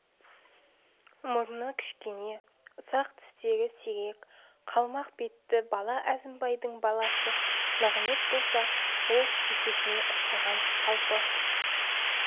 мұрны кішкене ұсақ тістері сирек қалмақ бетті бала әзімбайдың баласы нығымет болса ол шешесіне ұқсаған салпы